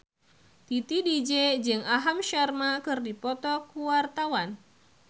Titi DJ jeung Aham Sharma keur dipoto ku wartawan